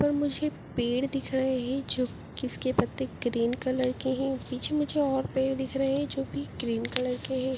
यहाँ पर मुझे पेड़ दिख रहे है जो जिसके किसके पत्ते ग्रीन कलर के है बीच में मुझे और पेड़ दिख रहे है जो कि ग्रीन कलर के है।